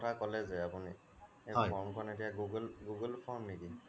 form খনৰ কথা কলে যে আপুনি সেই form খন এতিয়া google form নেকি ?